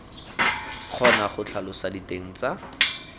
kgona go tlhalosa diteng tsa